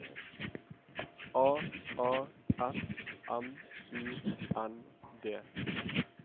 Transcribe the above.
A A S M U N D